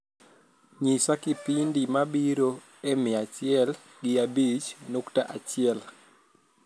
nyisa kipindi mabiro e mia achiel gi abich nukta achiel